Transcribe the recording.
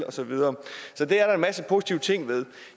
og så videre så det er der en masse positive ting ved